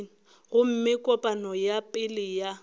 gomme kopano ya pele ya